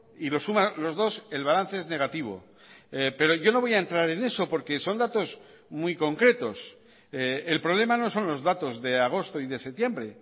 y lo suma los dos el balance es negativo pero yo no voy a entrar en eso porque son datos muy concretos el problema no son los datos de agosto y de septiembre